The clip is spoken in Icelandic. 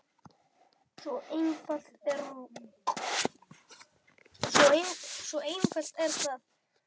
Svo einfalt er það!